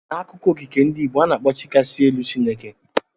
N'akụkọ okike ndị Igbo, a na-akpọ Chi kachasị elu Chineke.